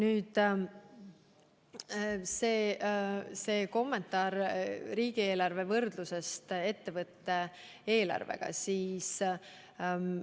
Teie kommentaar riigieelarve ja ettevõtte eelarve võrdlemise kohta.